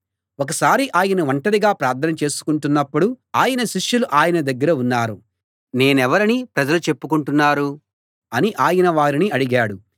ఒకసారి ఆయన ఒంటరిగా ప్రార్థన చేసుకుంటున్నప్పుడు ఆయన శిష్యులు ఆయన దగ్గర ఉన్నారు నేను ఎవరని ప్రజలు చెప్పుకుంటున్నారు అని ఆయన వారిని అడిగాడు